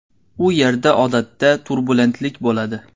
U yerda odatda turbulentlik bo‘ladi.